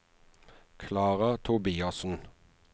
Klara Tobiassen